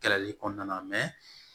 Kɛlɛli kɔnɔna na